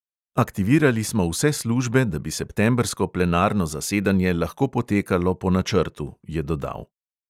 "Aktivirali smo vse službe, da bi septembrsko plenarno zasedanje lahko potekalo po načrtu," je dodal.